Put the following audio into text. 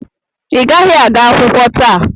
Ị gaghị aga akwụkwọ taa!